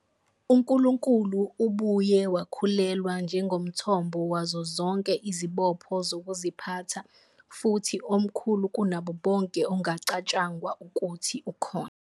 UNkulunkulu ubuye wakhulelwa njengomthombo wazo zonke izibopho zokuziphatha, futhi "omkhulu kunabo bonke ongacatshangwa ukuthi ukhona".